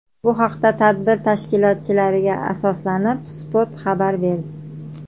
Bu haqda tadbir tashkilotchilariga asoslanib, Spot xabar berdi .